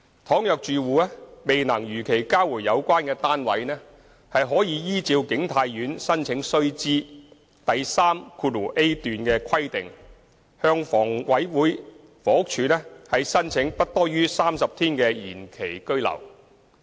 倘若住戶未能如期交回有關單位，可依照景泰苑《申請須知》第 3a 段的規定，向房屋署申請不多於30天的延期居留。